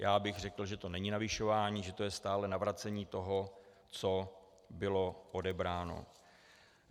Já bych řekl, že to není navyšování, že to je stále navracení toho, co bylo odebráno.